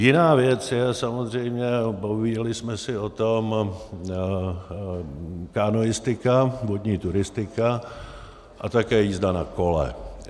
Jiná věc je samozřejmě, bavili jsme se o tom, kanoistika, vodní turistika a také jízda na kole.